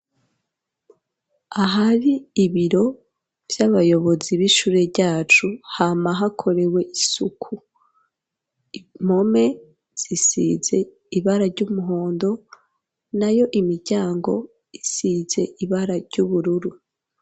Ahari ibiro vy'abayobozi b'ishure ryacu hama hakorewe isuku, impome zisize ibara ry'umuhondo nayo imiryango isize ibara ry'ubururu.